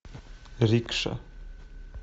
рикша